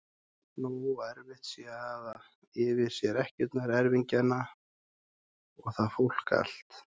Nógu erfitt sé að hafa yfir sér ekkjurnar, erfingjana og það fólk allt!